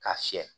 K'a fiyɛ